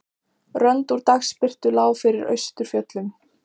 Rönd úr dagsbirtu lá yfir austurfjöllum.